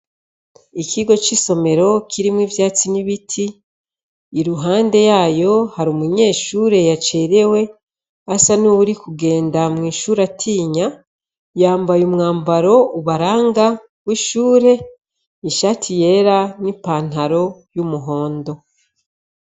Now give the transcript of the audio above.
Ikigo cisomero kirimwo ivyatsi nibiti iruhande yaho hari umunyeshure yacerewe asa nuwuriko agenda atinya yambaye umwambaro ubaranga wishure ishati yera nipantalo numuhondo